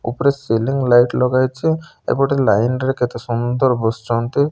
ଉପରେ ceiling light ଲଗାଯାଇଚି। ଏପଟେ ଲାଇନ୍ ରେ କେତେ ସମୁଦର ବସିଚନ୍ତି।